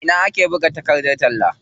A ina ake buga takardar talla?